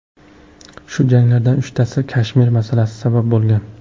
Shu janglardan uchtasiga Kashmir masalasi sabab bo‘lgan.